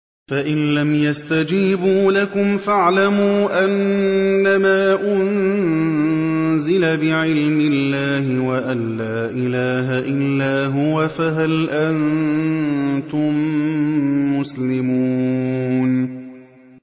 فَإِلَّمْ يَسْتَجِيبُوا لَكُمْ فَاعْلَمُوا أَنَّمَا أُنزِلَ بِعِلْمِ اللَّهِ وَأَن لَّا إِلَٰهَ إِلَّا هُوَ ۖ فَهَلْ أَنتُم مُّسْلِمُونَ